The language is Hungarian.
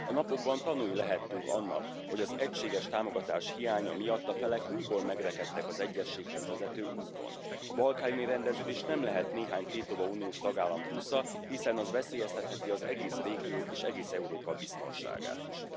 A napokban tanúi lehettünk annak, hogy az egységes támogatás hiánya miatt a felek újból megrekedtek az egyezséghez vezető úton. A balkáni rendeződés nem lehet néhány tétova uniós tagállam túsza, hiszen az veszélyeztetheti az egész régió és egész Európa biztonságát is.